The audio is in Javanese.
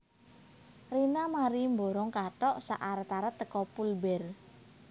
Rina mari mborong kathok sak arat arat teko Pull Bear